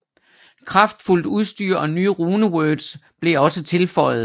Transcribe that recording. Kraftfuldt udstyr og nye runewords blev også tilføjet